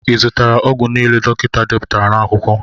I zụtara ọgwụ niile dọkịta deputara n'akwụkwọ?